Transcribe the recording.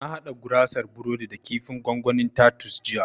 Na haɗa gurasar burodi da kifin gwangwanin tatus jiya